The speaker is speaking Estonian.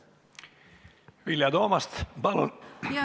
Vilja Toomast, palun!